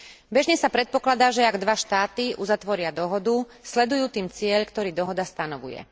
Bežne sa predpokladá, že ak dva štáty uzatvoria dohodu, sledujú tým cieľ, ktorý dohoda stanovuje.